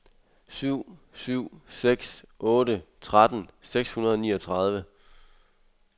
syv syv seks otte tretten seks hundrede og niogtredive